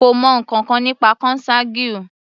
Kò mọ ǹkankan nípa consanguine.